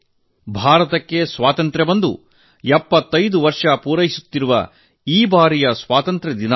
ಅದಕ್ಕೆ ಕಾರಣ ಭಾರತಕ್ಕೆ ಸ್ವಾತಂತ್ರ್ಯ ಬಂದು 75 ವರ್ಷ ಪೂರೈಸುತ್ತಿರುವುದು